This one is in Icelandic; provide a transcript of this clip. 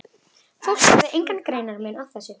Fólk gerði engan greinarmun á þessu.